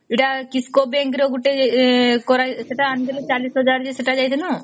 ଏଟା kisco bank ରେ ଗୋଟେ କର ସେଟା ଅଣିଥିଲୁ ଚାଳିଶ ହଜାର ସେଟା ଯାଇଥିଲୁ